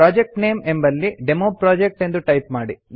project name ಎಂಬಲ್ಲಿ demo project ಎಂದು type ಮಾಡಿ